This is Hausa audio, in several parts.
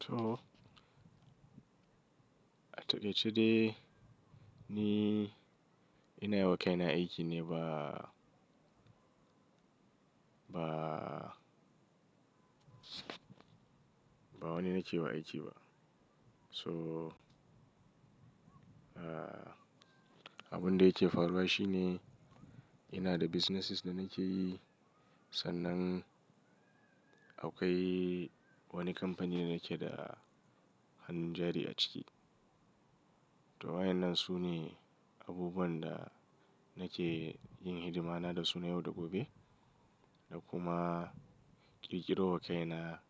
To, a takaice de ni ina yiwa kai na aiki ne ba, ba, ba wani na ke wa aiki ba. So, abin da yake faruwa shi ne ina da businesses da nake yi. Sannan akwai wani kamfani da nake da hannun jari a ciki. To wa in nan sune abubuwan da nake yin hidimana da su na yau da gobe da kuma ƙirƙiro wa kaina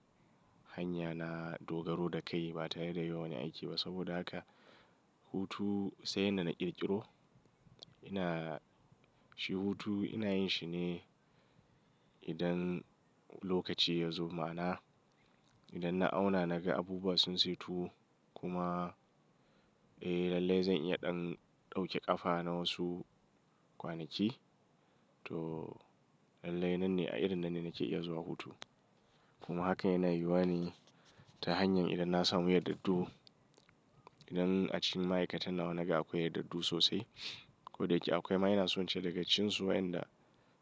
hanya na dogaro da kai ba tare da yawan wani aiki ba. Saboda wato sai yadda na ƙirƙiro. Ina, shi hutu ina yin shi ne idan lokaci ya zo. Ma'ana idan na auna naga abubuwa sun saitu kuma, eh lallai zan iya ɗan ɗauke ƙafa na wasu kwanaki. To lallai nan ne a irin nan ne nake iya zuwa hutu. Kuma hakan yana yuwane ta hanyar idan na samu yardardu, idan a cikin ma'aikatan nawa naga akwai yardardu sosai. Ko da yake akwai ma ina so in ce daga cikin su waɗanda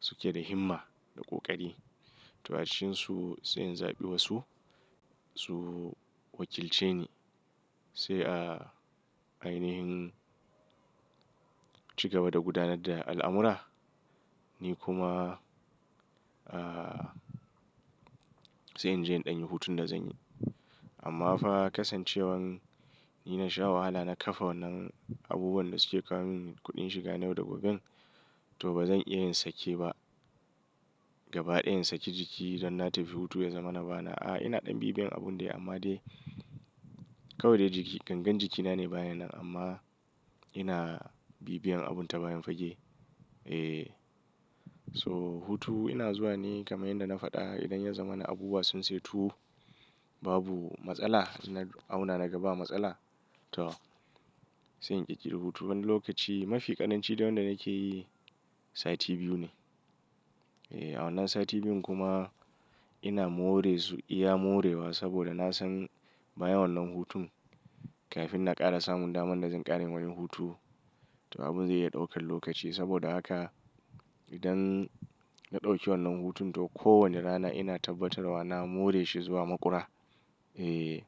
suke da himma da ƙoƙari. To a cikin su sai in zaɓi wasu su wakilce ni sai a ainihin ci gaba da gudanar da al'amura, ni kuma, ah, sai in je in ɗan yi hutun da zan yi. Amma fa kasancewan ni na sha wahala na kafa wannan abubuwan da suke kawo min kuɗin shiga yau da kullum, to ba zan iya yin sake ba gaba ɗaya in saki jiki don na tafi hutu ya zama na bana. A'a, ina ɗan bibiyan abun dai amma dai kawai dai jiki, gangar jikina ne bayan nan amma ina bibiyan abun ta bayan fage. Eh, so hutu ina zuwa ne kamar yadda na faɗa idan ya zama na abubuwa sun saitu, babu matsala ina auna naga ba matsala. To sai in ƙirƙiri hutu wani lokaci. Mafi ƙaranci dai wanda nake yi sati biyu ne. Eh, a wannan sati biyun kuma ina more su, iya morewa saboda na san baya wannan hutun kafin na ƙara samun daman da zan ƙara yin wani hutun. To abun zai iya ɗaukar lokaci saboda haka idan na ɗauki wannan hutun to kowanne rana ina tabbatarwa na more shi zuwa makura. Eh,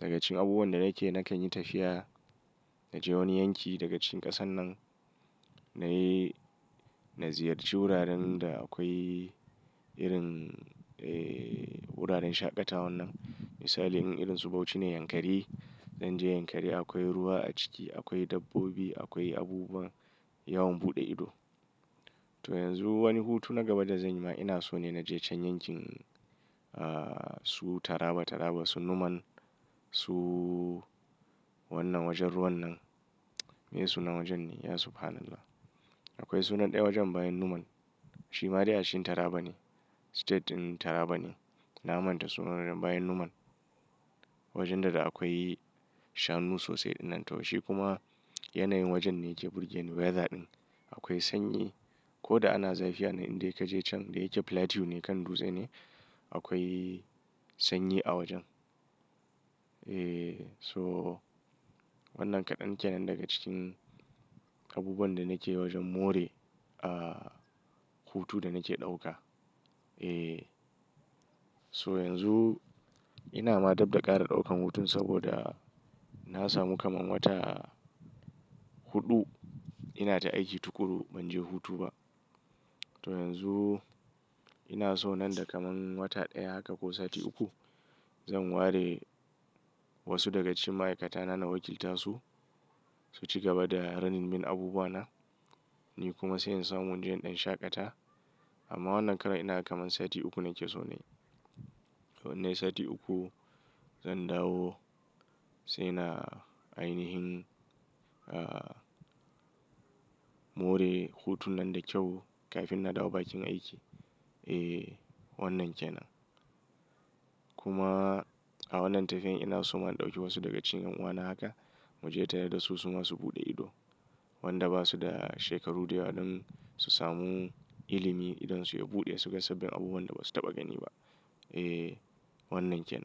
daga cikin abubuwan da nake na kan yi tafiya naje wani yanki daga cikin ƙasar nan nayi, na ziyarci wuraren da akwai irin, eh wuraren shaƙatawan nan. Misali in irin su bauchi ne yankari. Zan je yankari akwai ruwa a ciki, akwai dabbobi, akwai abubuwa yawan buɗe ido. To yanzu wani hutu na gaba da zan yi ma ina so ne naje can yankin, ah su Taraba Taraba su Numan su wannan wajen ruwan nan. Me sunan wajen ne? Ya subhanallah. Akwai sunan ɗaya wajen bayan Numan. Shi ma dai a cikin Taraba ne. State ɗin Taraba ne. Na manta sunan wajen bayan Numan. Wajen da akwai shanu sosai din nan to shi kuma yanayin wajen ne ke burge ni. Weather ɗin akwai sanyi ko da ana zafi a nan in dai ka je can dai yake plateau ne kan dutse ne akwai sanyi a wajen. Eh so wannan kaɗan kenan daga cikin abubuwan da nake wajen more, ah hutun da nake ɗauka. Eh so yanzu ina ma dab da ƙara ɗaukan hutun saboda na samu kamar wata huɗu ina ta aiki tukuru ban je hutu ba. To yanzu ina so nan da kamar wata ɗaya haka ko sati uku zan ware wasu daga cikin ma'aikata na na wakiltasu su ci gaba da kula min da abubuwa na, ni kuma sai in samu in je in ɗan shaƙata. Amma wannan ƙara ina kamar sati uku nake so na yi. To in nayi sati uku zan dawo sai na ainihin, ah more hutun nan da kyau kafin na dawo bakin aiki. Eh wannan kenan. Kuma a wannan tafiyan ina so ma ɗauki wasu daga cikin ƴan uwana haka mu je tare da su, suma su buɗe ido. Waɗanda ba su da shekaru da yawa don su samu ilimi idan su ya buɗe suje suga abubuwan da ba su taɓa gani ba. Eh wannan kenan.